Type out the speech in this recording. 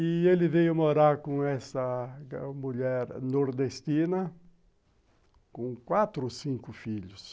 E ele veio morar com essa mulher nordestina com quatro ou cinco filhos.